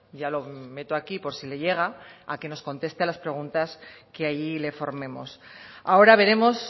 ya lo meto aquí por sí le llega que nos conteste a las preguntas que allí le formemos ahora veremos